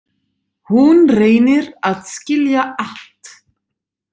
Hún reynir að skilja allt.